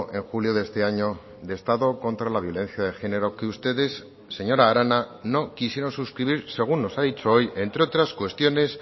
en julio de este año de estado contra la violencia de género que ustedes señora arana no quisieron suscribir según nos ha dicho hoy entre otras cuestiones